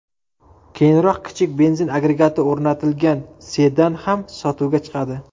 Keyinroq kichik benzin agregati o‘rnatilgan sedan ham sotuvga chiqadi.